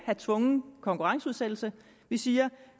have tvungen konkurrenceudsættelse vi siger